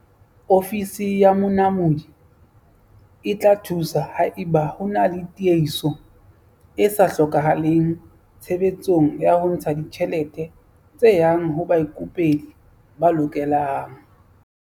Ofisi ya Monamodi e tla thusa haeba ho na le tiehiso e sa hlokahaleng tshebetsong ya ho ntsha ditjhelete tse yang ho baikopedi ba lokelang.